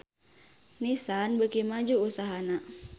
Nissan beuki maju usahana